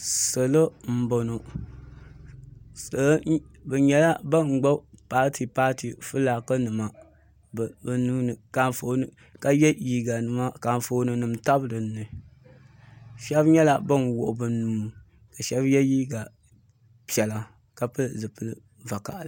Salo m boŋɔ bɛ nyɛla ban gbibi paati paati filaaki nima bɛ nuuni ka ye liiga nima ka anfooni nima tabi dinni sheba nyɛla ban wuɣi bɛ nuu ka sheba ye liiga piɛla ka pili zipil'vakaɣali.